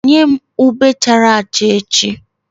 Nye m ube chara acha echi!